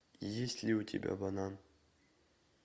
есть ли у тебя банан